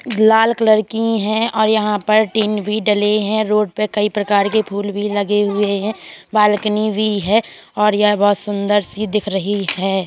लाल colour की हैं और यहाँ पर टीन भी डले हैं रोड पे । कई प्रकार के फूल भी लगे हुए हैं बालकनी भी है और यह बोहत सुन्दर-सी दिख रही है।